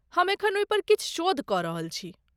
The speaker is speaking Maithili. हम एखन ओहिपर किछु शोध कऽ रहल छी।